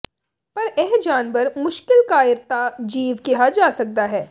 ਪਰ ਇਹ ਜਾਨਵਰ ਮੁਸ਼ਕਿਲ ਕਾਇਰਤਾ ਜੀਵ ਕਿਹਾ ਜਾ ਸਕਦਾ ਹੈ